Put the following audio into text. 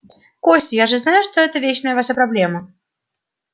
костя я же знаю что это вечная ваша проблема